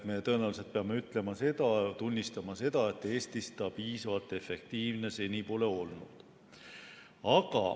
Me tõenäoliselt peame tunnistama, et Eestis see piisavalt efektiivne seni pole olnud.